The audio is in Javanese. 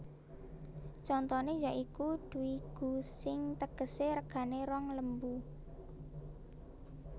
Contoné ya iku dvi gu sing tegesé regané rong lembu